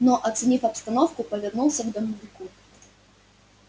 но оценив обстановку повернулся к домовику